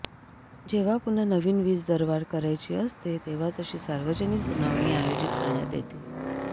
जेव्हा पुन्हा नवीन वीज दरवाढ करायची असते तेव्हाच अशी सार्वजनिक सुनावणी आयोजित करण्यात येते